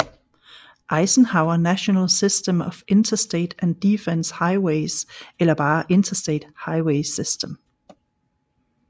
Eisenhower National System of Interstate and Defense Highways eller bare Interstate Highway System